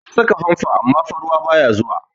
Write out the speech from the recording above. An saka fanfon amma fa ruwa baya zuwa.